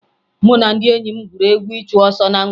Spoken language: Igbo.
Mụ na ndị enyi m gwuru egwu ịchụ ọsọ na mgbede